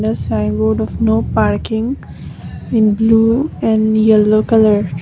the sign board of no parking in blue and yellow colour.